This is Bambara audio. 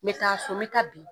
Me taa so me taa bi.